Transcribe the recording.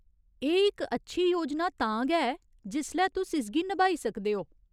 एह् इक अच्छी योजना तां गै ऐ जिसलै तुस इसगी नभाई सकदे ओ।